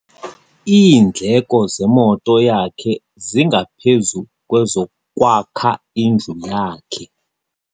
Iindleko zemoto yakhe zingaphezu kwezokwakha indlu yakhe.